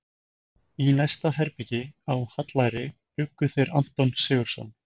Í næsta herbergi, á Hallæri, bjuggu þeir Anton Sigurðsson